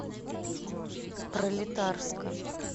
пролетарска